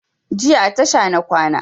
Jiya a tasha na kwana